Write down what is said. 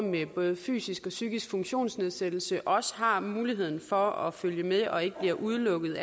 med fysisk psykisk funktionsnedsættelse også har muligheden for at følge med og ikke bliver udelukket